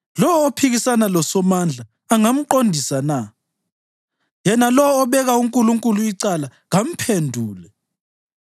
“Lowo ophikisana loSomandla angamqondisa na? Yena lowo obeka uNkulunkulu icala kamphendule!”